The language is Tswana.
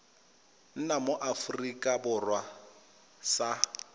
nna mo aforika borwa sa